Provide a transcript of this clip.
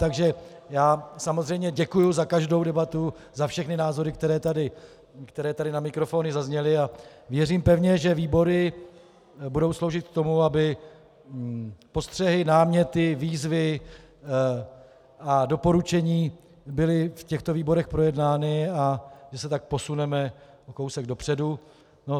Takže já samozřejmě děkuji za každou debatu, za všechny názory, které tady na mikrofony zazněly, a věřím pevně, že výbory budou sloužit k tomu, aby postřehy, náměty, výzvy a doporučení byly v těchto výborech projednány, a že se tak posuneme o kousek dopředu.